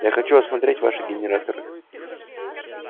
я хочу осмотреть ваши генераторы